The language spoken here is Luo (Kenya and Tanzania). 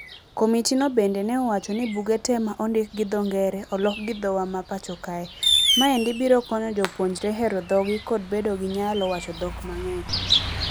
Komiti no bende ne owacho ni buge tee ma ondik gi dho ngere oloki gi dhowa ma pacho kae. Maendi biro konyo jopuonjre hero dhogi kod bedo ni gi nyalo wacho dhok mang'eny.